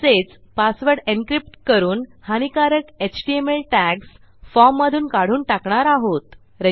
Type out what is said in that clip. तसेच password encrypt करून हानीकारक एचटीएमएल टॅग्स फॉर्ममधून काढून टाकणार आहोत